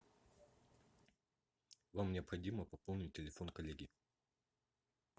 вам необходимо пополнить телефон коллеги